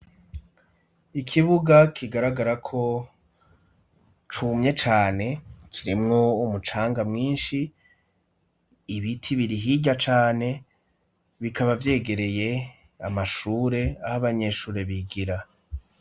Ikibuga kigaragarako cumye cane, kirimwo umucanga mwinshi, ibiti biri hirya cane, bikaba vyegereye amashure ah' abanyeshure bigira.